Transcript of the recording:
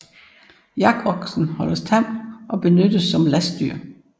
Yakoksen holdes tam og benyttes som lastdyr